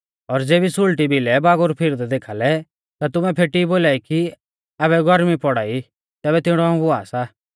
और ज़ेबी सुल़टी भिलै बागुर फिरदै देखा लै ता तुमै फेटी बोलाई कि आबै गौरमी पौड़ा ई तैबै तिणौ हुआ सा